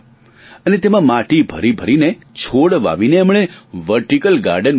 અને તેમાં માટી ભરી ભરીને છોડ વાવીને એમણે વર્ટીકલ ગાર્ડન બનાવ્યા